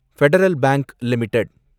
federal bank limited